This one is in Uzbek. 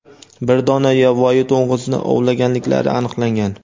bir dona yovvoyi to‘ng‘izni ovlaganliklari aniqlangan.